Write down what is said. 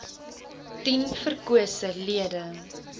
tien verkose lede